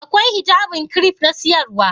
Akwai hijabin kiref na siyarwa?